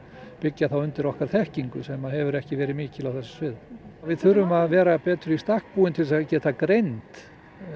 byggja þá undir okkar þekkingu sem hefur ekki verið mikil á okkar sviði við þurfum að vera betur í stakk búin til að geta greint